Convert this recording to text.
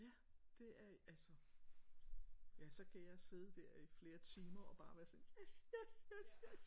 Ja det er altså ja så kan jeg sidde der i flere timer og bare være sådan yes yes yes yes